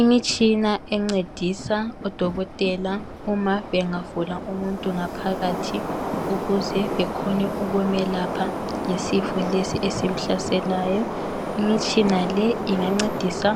imitshina encedisa odokotela uma bengavula umuntu ngaphakathi ukuze bekhone ukumelapha ngesifo lesi esimhlaselayo imitshina le ingancedisa